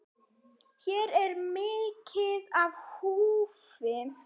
Hér er mikið í húfi.